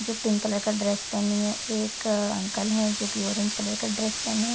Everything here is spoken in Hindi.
जो पिंक कलर का ड्रेस पहनी है। एक अंकल हैं जोकि ऑरेंज कलर का ड्रेस पहने हैं।